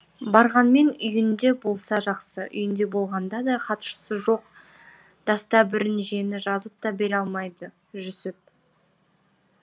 барғанмен үйінде болса жақсы үйінде болғанда да хатшысы жоқ дастабірінжені жазып та бере алмайды жүсіп